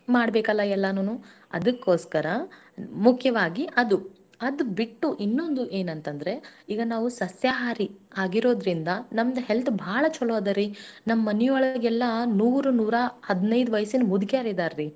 ಯಾಕ ಅವ್ರು ಎಲ್ಲಾ ಬರಿ ತಪ್ಪಲ ಪಲ್ಲೆ ಆಮೇಲೆ ಕಾಯಿ ಪಲ್ಲೆ ಕಾಳ್ ಪಲ್ಲೆ ಈ ತರಾ ಮೊಸರು ಮಜ್ಜಿಗೆ ಇಂಥದೆಲ್ಲ ತಿಂದು ಉಂಡು ಬೆಳೆದವರೀ, ಅಂತವರಿಗೆ ಯಾವುದು ರೋಗಾನು ಬಂದಿಲ್ಲ ರೀ ಅವ್ರು ಅವ್ರಿಗ ಯಾವ್ದು BP ಇಲ್ಲಾರಿ sugar ಇಲ್ಲಾ.